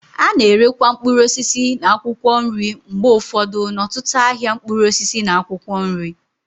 A na-erekwa mkpụrụ osisi na akwụkwọ nri mgbe ụfọdụ n'ọtụtụ n'ahịa mkpụrụ osisi na akwụkwọ nri.